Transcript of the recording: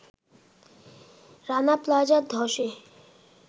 রানা প্লাজা ধসে